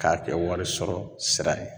K'a kɛ wɔri sɔrɔ sira ye